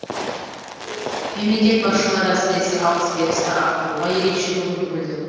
мемлекет басшылары әсіресе алыс берісті арттыруға ерекше көңіл бөлді